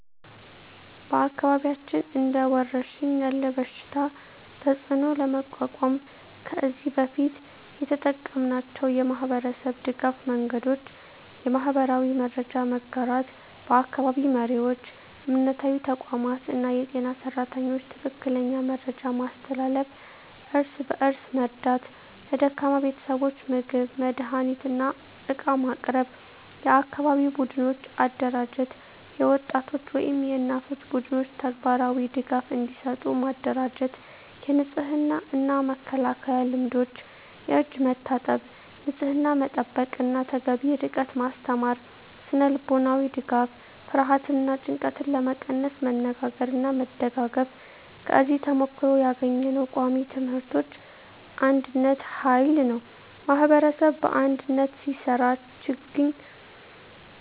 በአካባቢያችን እንደ ወረሽኝ ያለ በሽታ ተፅዕኖ ለመቋቋም ከዚህ በፊት የተጠቀምናቸው የማህበረሰብ ድገፍ መንገዶች :- የማህበራዊ መረጃ መጋራት በአካባቢ መሪዎች፣ እምነታዊ ተቋማት እና የጤና ሰራተኞች ትክክለኛ መረጃ ማስተላለፍ። እርስ በእርስ መርዳት ለደካማ ቤተሰቦች ምግብ፣ መድሃኒት እና ዕቃ ማቅረብ። የአካባቢ ቡድኖች አደራጀት የወጣቶች ወይም የእናቶች ቡድኖች ተግባራዊ ድጋፍ እንዲሰጡ ማደራጀት። የንጽህና እና መከላከያ ልምዶች የእጅ መታጠብ፣ ንጽህና መጠበቅ እና ተገቢ ርቀት ማስተማር። ስነ-ልቦናዊ ድጋፍ ፍርሃትን እና ጭንቀትን ለመቀነስ መነጋገርና መደጋገፍ። ከዚህ ተሞክሮ ያገኘነው ቃሚ ትምህርቶች አንድነት ኃይል ነው ማኅበረሰብ በአንድነት ሲሰራ ችግኝ